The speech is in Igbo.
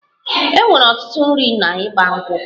E nwere ọtụtụ nri n'Igba nkwu'